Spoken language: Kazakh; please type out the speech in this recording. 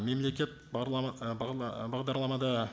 мемлекет бағдарламада